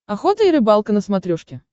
охота и рыбалка на смотрешке